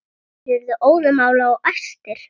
Þeir urðu óðamála og æstir.